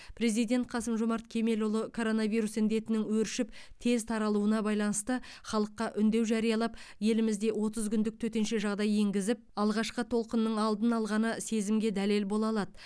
президент қасым жомарт кемелұлы коронавирус індетінің өршіп тез таралуына байланысты халыққа үндеу жариялап елімізде отыз күндік төтенше жағдай енгізіп алғашқы толқынның алдын алғаны сезімге дәлел бола алады